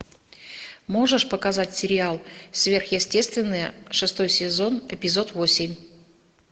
можешь показать сериал сверхъестественное шестой сезон эпизод восемь